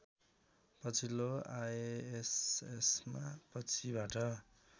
पछिल्लो आएएसएसमा पछिबाट